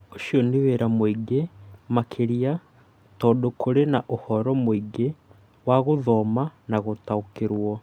Ũcio nĩ wĩra mũingĩ, makĩria tondũ kũrĩ na ũhoro mũingĩ wa gũthoma na gũtaũkĩrũo.